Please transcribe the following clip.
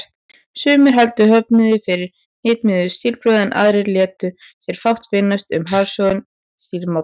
Sumir hældu höfundi fyrir hnitmiðuð stílbrögð, en aðrir létu sér fátt finnast um harðsoðinn stílsmátann.